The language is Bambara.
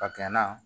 A kɛnɛ